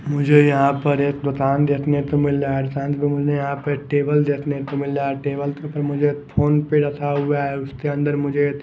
मुझे यहाँ पर एक दुकान देखने को मिल रहा है मुझे यहाँ पर टेबल देखने को मिल रहा है टेबल के ऊपर मुझे फोन पे रखा हुआ है उसके अंदर मुझे --